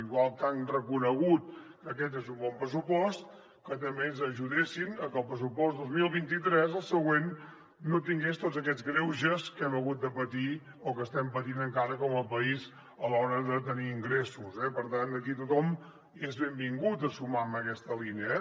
igual que han reconegut que aquest és un bon pressupost que també ens ajudessin a que el pressupost dos mil vint tres el següent no tingués tots aquests greuges que hem hagut de patir o que estem patint encara com a país a l’hora de tenir ingressos eh per tant aquí tothom hi és benvingut a sumar en aquesta línia